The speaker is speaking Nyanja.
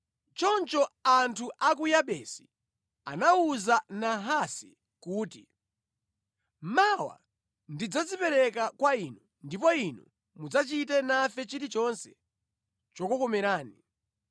Choncho anthu a ku Yabesi anawuza Nahasi kuti, “Mawa tidzadzipereka kwa inu ndipo inu mudzachite nafe chilichonse chokukomerani.”